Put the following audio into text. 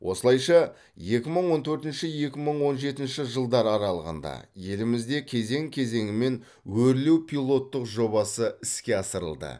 осылайша екі мың он төртінші екі мың он жетінші жылдар аралығында елімізде кезең кезеңімен өрлеу пилоттық жобасы іске асырылды